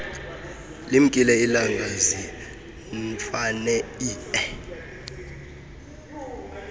limkile ilanga ziirnfaneie